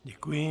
Děkuji.